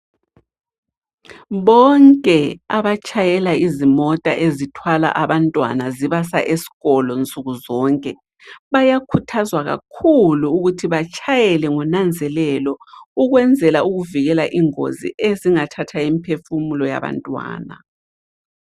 Bonke abatshayela izimota ezithwala abantwana zibasa esikolo nsukuzonke, bayakhuthazwa kakhulu ukuthi batshayele ngonanzelelo ukwenzela ukuvikela ingozi ezingathatha imiphefumulo yabantwana.